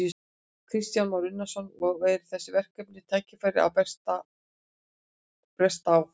Kristján Már Unnarsson: Og eru þessi verkefni og tækifæri að bresta á?